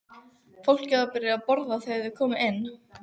Fólkið var byrjað að borða þegar þeir komu inn.